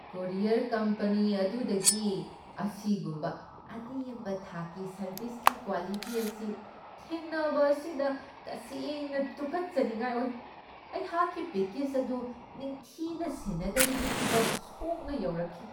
Courier company ꯑꯗꯨꯗꯒꯤ ꯑꯁꯤꯒꯨꯝꯕ ꯑꯅꯦꯝꯕ ꯊꯥꯛꯀꯤ ꯁꯔꯕꯤꯁꯀꯤ ꯀ꯭ꯋꯥꯂꯤꯇꯤ ꯑꯁꯤ ꯊꯦꯡꯅꯕ ꯑꯁꯤꯗ ꯇꯁꯦꯡꯅ ꯇꯨꯀꯠꯆꯅꯤꯡꯉꯥꯏ ꯑꯣꯏ ꯫ ꯑꯩꯍꯥꯛꯀꯤ ꯄꯦꯀꯦꯖ ꯑꯗꯨ ꯅꯤꯡꯊꯤꯅ ꯁꯦꯟꯅꯗꯕꯒꯤ ꯐꯤꯕꯝ ꯁꯣꯛꯅ ꯌꯧꯔꯛꯈꯤ ꯫